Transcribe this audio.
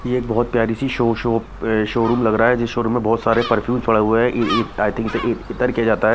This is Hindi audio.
ये एक बहोत प्यारी सी शो शॉप शोरूम लग रहा है जिस शोरूम में बहोत सारे परफ्यूम पड़े हुए हैं ई ईद आय थिंक इसे इ इतर कहा जाता है।